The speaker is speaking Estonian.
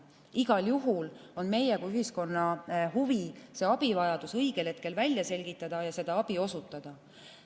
Igal juhul on meie kui ühiskonna huvi abivajadus õigel hetkel välja selgitada ja seda abi osutada.